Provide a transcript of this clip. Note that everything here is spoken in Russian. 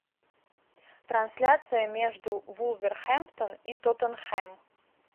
трансляция между вулверхэмптон и тоттенхэм